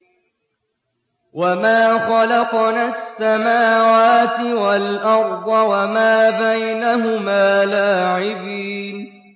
وَمَا خَلَقْنَا السَّمَاوَاتِ وَالْأَرْضَ وَمَا بَيْنَهُمَا لَاعِبِينَ